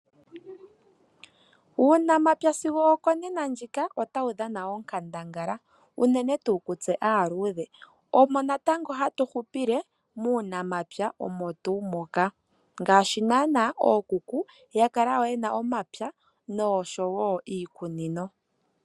Uunamapya sigo okonena ndjika otawu dhana onkandangala, unene tuu ku tse aaludhe omo natango hatu hupile muunamapya omo tuu moka, ngaashi naana ookuku ya kala ye na omapya nosho wo iikunino.